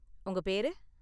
உங்க பேரு?